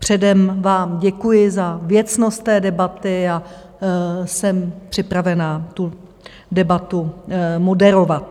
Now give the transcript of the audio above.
Předem vám děkuji za věcnost té debaty a jsem připravena tu debatu moderovat.